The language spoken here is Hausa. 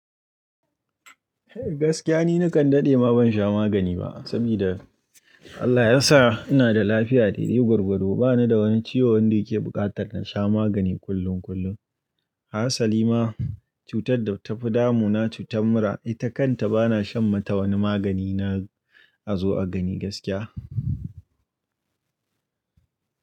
Gaskiya ni nakan daɗe ma ban sha magani ba, sabida Allah ya sa ina da lafiya daidai gwargwado. Bana da wani ciwo wanda yake buƙatar na sha magani kullum kullum. Hassali ma cutar da ta fi damu na cutar mura ita kanta bana shan mata wani magani. Na a zo a gani gaskiya.